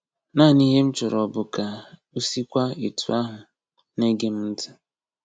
Naanị ihe m chọrọ bụ ka o sikwa etu ahụ na-ege m ntị”